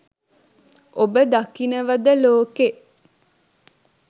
ඔබ දකිනවද ලෝකෙ